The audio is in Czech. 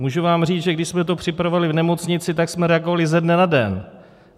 Můžu vám říct, že když jsme to připravovali v nemocnici, tak jsme reagovali ze dne na den.